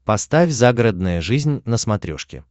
поставь загородная жизнь на смотрешке